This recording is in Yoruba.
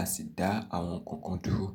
a sì dá àwọn nǹkan kan dúró.